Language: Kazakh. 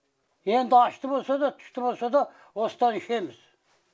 енді ащты болса да тұщты болса да осыдан ішеміз